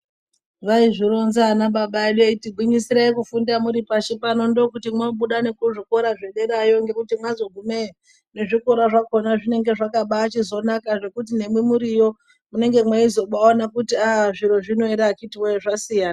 Vaizvironza anababa edu eiti gwinyisirai kufunda muri pashi pano ndookuti moobuda nekuzvikora zvederayo. Ngekuti mwazogumeyo nezvikora zvakona zvinenge zvakabaachizonaka zvekuti nemwi muriyo munenge mweizobaaona kuti ah zviro zvino ere akhitiwe zvasiyana.